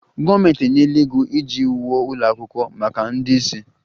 Gọọmenti enyela ego iji wuo ụlọ akwụkwọ maka ndị ìsì